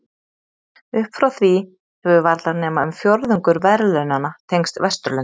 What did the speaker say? Upp frá því hefur varla nema um fjórðungur verðlaunanna tengst Vesturlöndum.